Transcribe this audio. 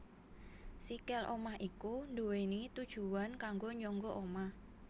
Sikil omah iku duwéni tujuwan kanggo nyangga omah